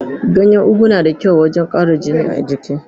Ganyen ugu na da kyau wajen ƙara jini a jiki.